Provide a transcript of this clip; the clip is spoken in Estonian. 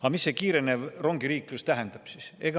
Aga mis see kiirenev rongiliiklus tähendab siis?